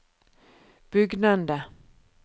bugnende